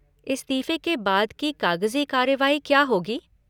इस्तीफ़े के बाद की कागजी कार्यवाही क्या होगी?